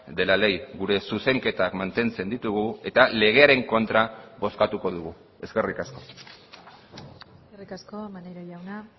de la ley gure zuzenketak mantentzen ditugu eta legearen kontra bozkatuko dugu eskerrik asko eskerrik asko maneiro jauna